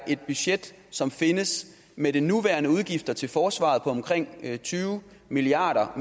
et budget som findes med de nuværende udgifter til forsvaret på omkring tyve milliard